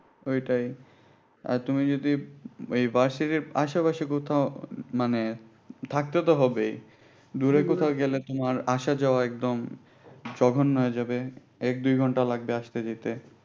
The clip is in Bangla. ওইটাই আর তুমি যদি এই varsity এর আশে পাশে কোথাও মানে থাকতে তো হবে দূরে কোথাও গেলে তোমার আসা যাওয়া একদম জঘন্য হয়ে যাবে এক দুই ঘন্টা লাগবে আসতে যেতে